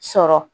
Sɔrɔ